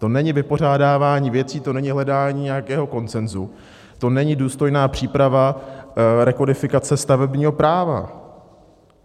To není vypořádávání věcí, to není hledání nějakého konsenzu, to není důstojná příprava rekodifikace stavebního práva.